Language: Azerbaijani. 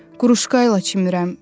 Quruşka ilə çimirəm.